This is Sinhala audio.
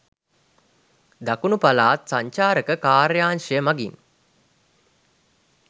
දකුණු පළාත් සංචාරක කාර්යාංශය මගින්